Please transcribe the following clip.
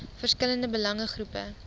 verskillende belange groepe